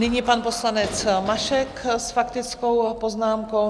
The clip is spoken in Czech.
Nyní pan poslanec Mašek s faktickou poznámkou.